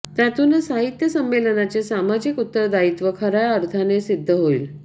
त्यातूनच साहित्य संमेलनाचे सामाजिक उत्तरदायित्व खऱ्या अर्थाने सिद्ध होईल